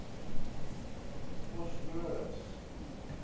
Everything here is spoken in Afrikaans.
vosloorus